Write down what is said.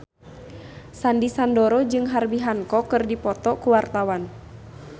Sandy Sandoro jeung Herbie Hancock keur dipoto ku wartawan